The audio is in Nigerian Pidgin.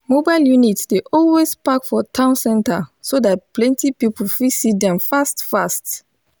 mobile unit dey always park for town center so that plenty people fit see them fast fast